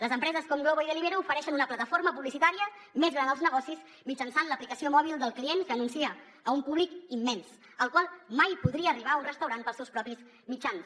les empreses com glovo i deliveroo ofereixen una plataforma publicitària més gran als negocis mitjançant l’aplicació mòbil del client que anuncia a un públic immens al qual mai podria arribar un restaurant pels seus propis mitjans